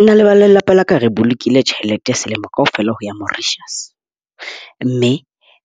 Nna le ba lelapa la ka re bolokile tjhelete selemo kaofela ho ya Mauritius. Mme